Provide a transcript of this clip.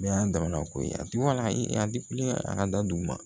Bɛɛ y'a damana ko ye a tigi a a ka da dugu ma